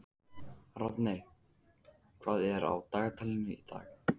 Rafney, hvað er á dagatalinu í dag?